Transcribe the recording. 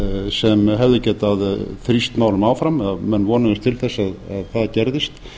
sem hefðu getað þrýst málum áfram menn vonuðust til þess að það gerðist